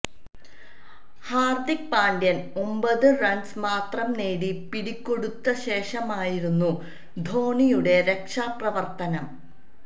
ഹാര്ദിക് പാണ്ഡ്യ ഒമ്പത് റണ്സ് മാത്രം നേടി പിടികൊടുത്ത ശേഷമായിരുന്നു ധോണിയുടെ രക്ഷാപ്രവര്ത്തനം